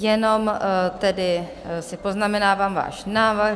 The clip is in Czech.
Jenom tedy si poznamenávám váš návrh...